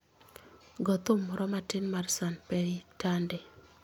Go thum moro matin mar sanpei tande